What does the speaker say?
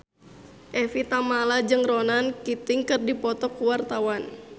Evie Tamala jeung Ronan Keating keur dipoto ku wartawan